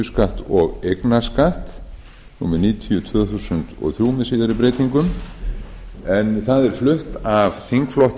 tekjuskatt og eignarskatt númer níutíu tvö þúsund og þrjú með síðari breytingum en það er flutt af þingflokki